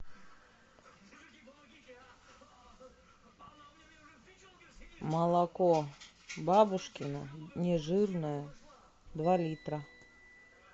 молоко бабушкино нежирное два литра